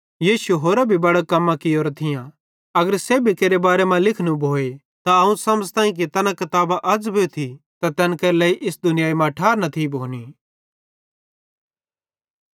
यीशुए होरां भी बड़ां कम्मां कियोरां थियां अगर सेब्भी केरे बारे मां लिखनू भोए त अवं समझ़ताईं कि तैना किताबां अज़ भोथी त तैन केरे लेइ इस दुनियाई मां ठार न थी भोनी